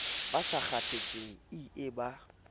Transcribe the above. ba sa kgathatseng ie ba